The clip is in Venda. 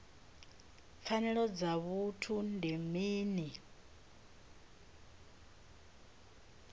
pfanelo dza vhuthu ndi mini